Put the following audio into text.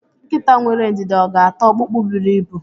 Nkita nwere ọga ata ọkpụkpụ buru ibu?